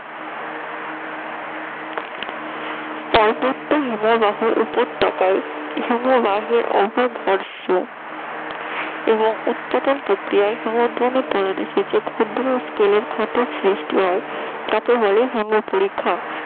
পার্বত্য হিমবাহ উপত্যকায় হিমবাহের উপর ঘর্ষণ এবং উৎপাদন প্রক্রিয়ায় হিমবাহের তলদেশে যে ক্ষতের সৃষ্টি হয় তাকে বলে হিমো পরীক্ষা